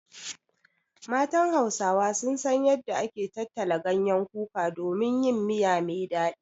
Matan Hausawa sun san yanda ake tattala ganyen kuka don yin miya me daɗi.